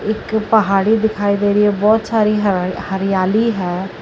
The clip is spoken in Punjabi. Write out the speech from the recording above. ਇੱਕ ਪਹਾੜੀ ਦਿਖਾਈ ਦੇ ਰਈ ਐ ਬਹੁਤ ਸਾਰੀ ਹਰਿਆਲੀ ਹੈ।।